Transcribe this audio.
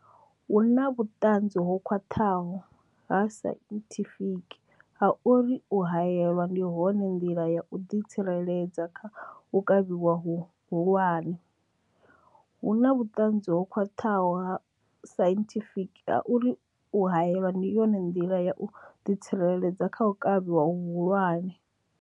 Hu na vhuṱanzi ho khwaṱhaho ha sainthifiki ha uri u haelwa ndi yone nḓila ya u ḓi tsireledza kha u kavhiwa hu hulwane. Hu na vhuṱanzi ho khwaṱhaho ha sainthifiki ha uri u haelwa ndi yone nḓila ya u ḓi tsireledza kha u kavhiwa hu hulwane.